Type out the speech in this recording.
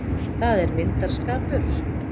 Það er myndarskapur.